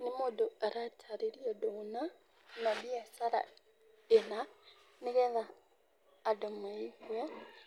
Nĩ mũndũ aratarĩria ũndũ mũna, kana biacara ĩna, nĩgetha andũ maigũe.